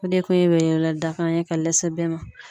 O de kun ye weleweledakan ye ka lase bɛɛ ma